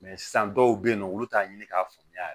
sisan dɔw be yen nɔ olu t'a ɲini k'a faamuya yɛrɛ